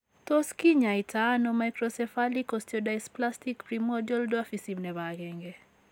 Tos kinyaaytano microcephalic osteodysplastic primordial dwarfism nebo 1 ?